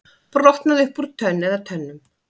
Brotnaði upp úr tönn eða tönnum